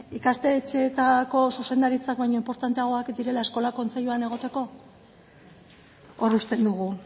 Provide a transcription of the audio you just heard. ikastetxeetako zuzendariak baino inportanteagoak direla eskola kontseiluan egoteko hor uzten dugu